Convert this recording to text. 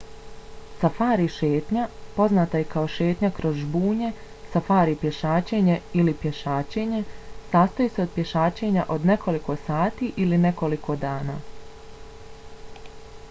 safari šetnja poznata i kao šetnja kroz žbunje safari pješačenje ili pješačenje sastoji se od pješačenja od nekoliko sati ili nekoliko dana